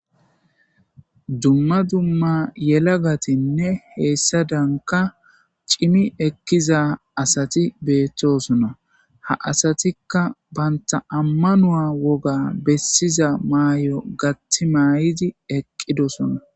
dumma dumma yela gatinne heessa danka cimi ekkiza asati beettosona ha asatikka banta ammanua woga bessiza maay7o gatti may7idi eqqidosona